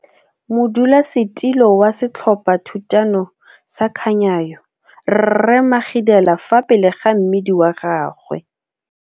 Photo 2, modulasetilo wa Setlhophathutano sa Khanyayo rre Magidela fa pele ga mmidi wa gagwe.